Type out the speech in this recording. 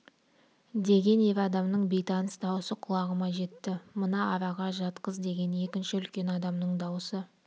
деген ер адамның бейтаныс даусы құлағыма жетті мына араға жатқыз деген екінші үлкен адамның даусы